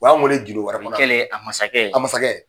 O y''an wele gindo wɛrɛ kɔnɔ, kelen, a masakɛ, a masakɛ.